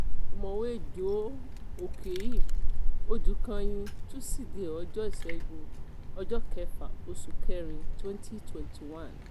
ọ̀mọ̀wé joe okei-odùkàyìn túṣìdẹ̀ẹ́ ọjọ́ ìṣègùn ọjọ́ kẹfà oṣù kẹrin twenty twenty one